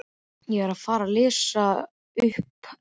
Ég er að fara að lesa upp ljóð.